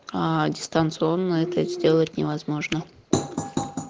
аа дистанционно это сделать невозможно